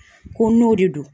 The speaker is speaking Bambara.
Ko n'o de don